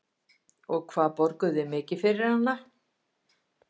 Andri Ólafsson: Og hvað borguðu þið mikið fyrir hana?